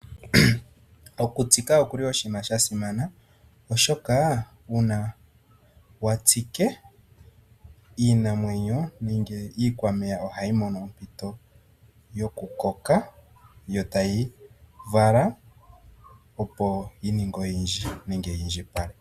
Okutsika oshili oshinima sha simana, oshoka uuna wa tsike, iinamwenyo nennge iikwameya ohayi mono ompito yokukoka, yo tayi vala, opo yi indjipale.